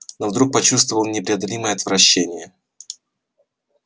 но вдруг почувствовал непреодолимое отвращение